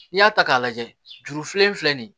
N'i y'a ta k'a lajɛ juru filanan filɛ nin ye